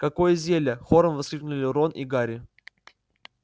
какое зелье хором воскликнули рон и гарри